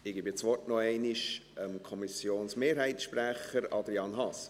Ich gebe das Wort noch einmal dem Kommissionsmehrheitssprecher, Adrian Haas.